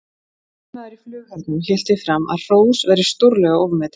Yfirmaður í flughernum hélt því fram að hrós væri stórlega ofmetið.